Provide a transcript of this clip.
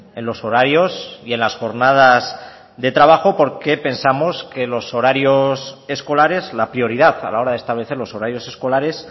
en los horarios y en las jornadas de trabajo porque pensamos que los horarios escolares la prioridad a la hora de establecer los horarios escolares